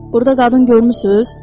Burda qadın görmüsüz?